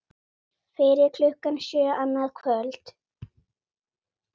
Fyrir klukkan sjö annað kvöld